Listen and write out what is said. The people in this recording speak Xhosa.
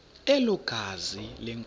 elo gazi lenkosi